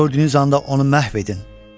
Gördüyünüz anda onu məhv edin.